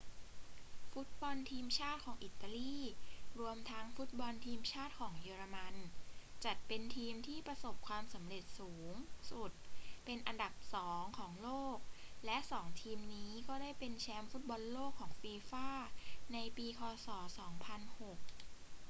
ฟุตบอลทีมชาติของอิตาลี รวมทั้งฟุตบอลทีมชาติของเยอรมันจัดเป็นทีมที่ประสบความสำเร็จสูงสุดเป็นอันดับสองของโลก และสองทีมนี้ก็ได้เป็นแชมป์ฟุตบอลโลกของฟีฟ่าในปีค ศ. 2006